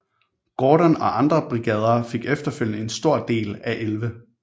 Gordon og andre brigader fik efterfølgede en stor del af 11